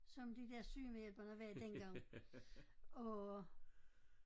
Som de der sygemedhjælpere der var dengang og